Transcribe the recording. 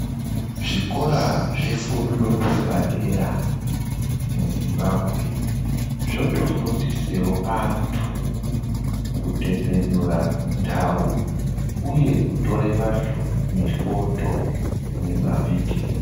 Zvikora zvefundo yepadera muZimbabwe zvotofundisewo antu kutepenura ndau uye kutora vandu mifodho nemavhidhiyo.